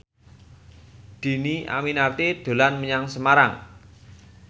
Dhini Aminarti dolan menyang Semarang